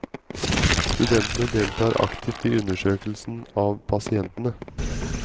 Studentene deltar aktivt i undersøkelsen av pasientene.